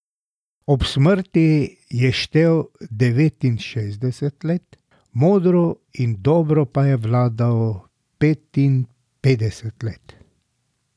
Ob smrti je štel devetinšestdeset let, modro in dobro pa je vladal petinpetdeset let.